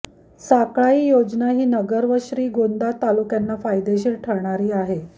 साकळाई योजना ही नगर व श्रीगोंदा तालुक्यांना फायदेशीर ठरणारी आहे